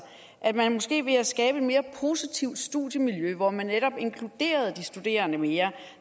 at man måske ved at skabe et mere positivt studiemiljø hvor man netop inkluderede de studerende mere